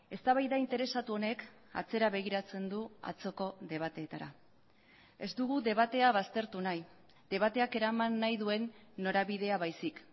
eztabaida interesatu honek atzera begiratzen du atzoko debateetara ez dugu debatea baztertu nahi debateak eraman nahi duen norabidea baizik